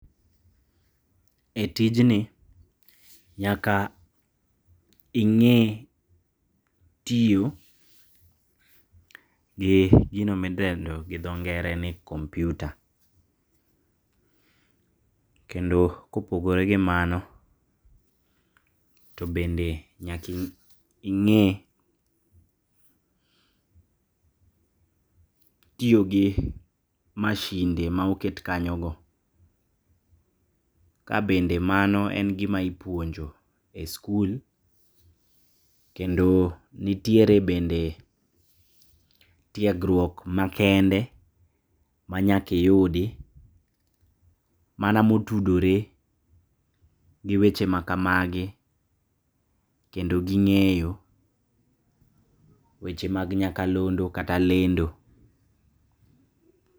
Etijni nyaka ig'e tiyo gi gino midendo gidho ng'ere ni computer. Kendo kopogore gi mano to bende nyaka ing'e tiyogi mashinde ma oket kanyogo. Ka bende mano en gima ipuonjo eskul. Kendo nitiere bende tiegruok makende manyaka iyudi mana motudore giweche maka magi kendo gi ng'eyo weche mag nyaka londo kata lendo